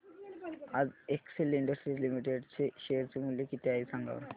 आज Excel Industries Limited चे share चे मूल्य किती आहे सांगा बरं